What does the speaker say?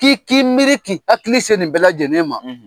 K'i k'i miiri k'i hakili se nin bɛɛ lajɛlen ma .